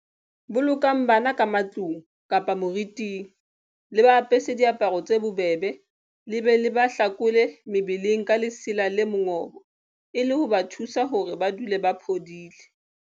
Bolokang bana ka matlung kapa moriting, le ba apese diaparo tse bobebe le be le ba hlakole mebeleng ka lesela le mongobo e le ho ba thusa hore ba dule ba phodile.